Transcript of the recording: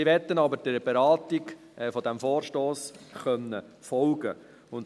Sie möchten aber der Beratung dieses Vorstosses folgen können.